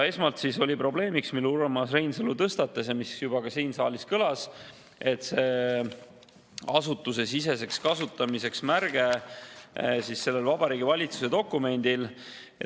Esmalt oli probleemiks, mille Urmas Reinsalu tõstatas ja mis juba ka siin saalis kõlas, see asutusesisese kasutamise märge sellel Vabariigi Valitsuse dokumendil.